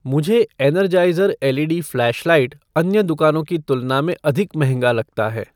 मुझे Energizer L E D flashlight अन्य दुकानों की तुलना में अधिक महंगा लगता है